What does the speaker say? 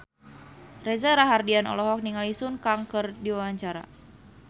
Reza Rahardian olohok ningali Sun Kang keur diwawancara